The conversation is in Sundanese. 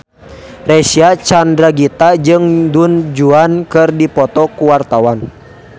Reysa Chandragitta jeung Du Juan keur dipoto ku wartawan